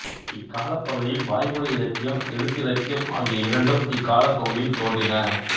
இக் காலப் பகுதியில் வாய்மொழி இலக்கியம் எழுத்து இலக்கியம் ஆகிய இரண்டும் இக் காலப்பகுதியில் தோன்றின